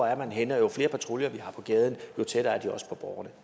er henne og jo flere patruljer der er på gaden jo tættere er de også på borgerne